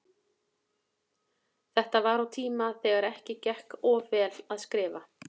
Þetta var á tíma þegar ekki gekk of vel að skrifa.